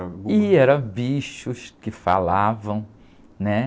Ih, eram bichos que falavam, né?